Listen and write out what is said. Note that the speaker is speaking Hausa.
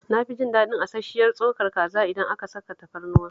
Na fi jin daɗin asash-shiyar tsokar kaza idan aka saka tafarnuwa